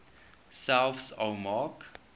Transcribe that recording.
selfs al maak